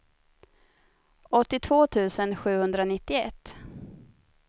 åttiotvå tusen sjuhundranittioett